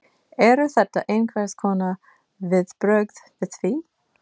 Eru þetta einhvers konar viðbrögð við því?